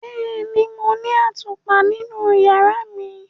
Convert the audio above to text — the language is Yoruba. Bẹẹni, Mo ni atupa ninu yara mi.